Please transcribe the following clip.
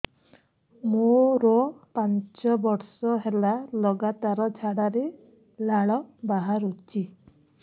ମୋରୋ ପାଞ୍ଚ ବର୍ଷ ହେଲା ଲଗାତାର ଝାଡ଼ାରେ ଲାଳ ବାହାରୁଚି